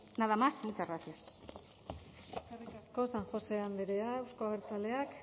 nada más y muchas gracias eskerrik asko san josé andrea euzko abertzaleak